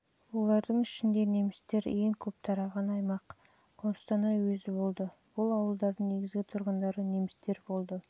олардың ішінде немістер ең көп тараған аймақ қостанай уезі болды бұл ауылдардың негізгі тұрғындары немістер болды